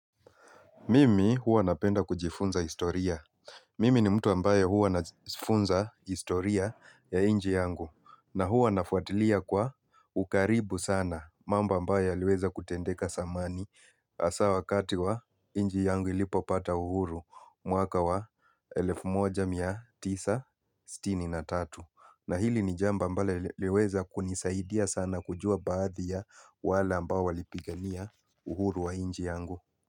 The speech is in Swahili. Mimi huwa ninapenda kujifunza historia. Mimi ni mtu ambaye huwa najifunza historia ya nchi yangu na huwa nafuatilia kwa ukaribu sana mambo ambayo yaliweza kutendeka zamani hasa wakati wa nchi yangu ilipo pata uhuru mwaka wa 1963. Na hili ni jambo ambalo liliweza kunisaidia sana kujua baadhi ya wale ambao walipigania uhuru wa nchi yangu.